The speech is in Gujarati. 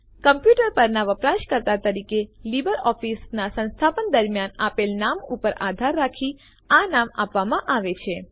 કમ્પ્યુટર પરનાં વપરાશકર્તા તરીકે લીબર ઓફીસનાં સંસ્થાપન દરમ્યાન આપેલ નામ ઉપર આધાર રાખી આ નામ આપવામાં આવે છે